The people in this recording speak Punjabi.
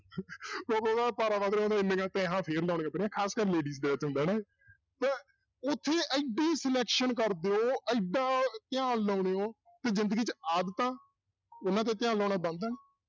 ਕਿਉਂਕਿ ਉਹਦਾ ਪਾਰਾ ਵੱਧ ਖ਼ਾਸ ਕਰ ladies ਤੇ ਉੱਥੇ ਇੱਡੀ selection ਕਰਦੇ ਹੋ, ਇੱਡਾ ਧਿਆਨ ਲਾਉਂਦੇ ਹੋ ਕਿ ਜ਼ਿੰਦਗੀ 'ਚ ਆਦਤਾਂ ਉਹਨਾਂ ਤੇ ਧਿਆਨ ਲਾਉਣਾ ਬਣਦਾ ਨੀ